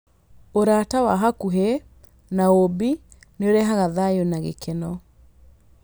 Ũrata wa hakuhĩ na ũũmbi nĩ ũrehaga thayũ na gĩkeno.